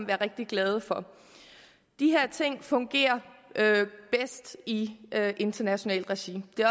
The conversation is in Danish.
være rigtig glade for de her ting fungerer bedst i internationalt regi det